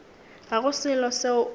ga go selo seo o